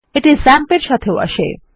এটি XAMPP এর সাথেও আসে